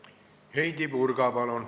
Heidy Purga, palun!